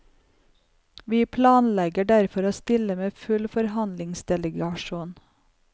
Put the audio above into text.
Vi planlegger derfor å stille med full forhandlingsdelegasjon.